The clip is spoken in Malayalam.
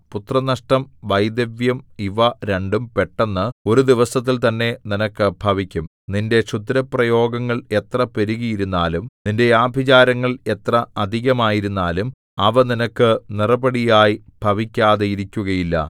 പുത്രനഷ്ടം വൈധവ്യം ഇവ രണ്ടും പെട്ടെന്ന് ഒരു ദിവസത്തിൽ തന്നെ നിനക്ക് ഭവിക്കും നിന്റെ ക്ഷുദ്രപ്രയോഗങ്ങൾ എത്ര പെരുകിയിരുന്നാലും നിന്റെ ആഭിചാരങ്ങൾ എത്ര അധികമായിരുന്നാലും അവ നിനക്ക് നിറപടിയായി ഭവിക്കാതിരിക്കുകയില്ല